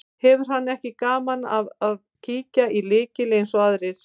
Hefur hann ekki gaman af að kíkja í lykil eins og aðrir.